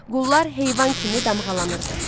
Qullar heyvan kimi damğalanırdı.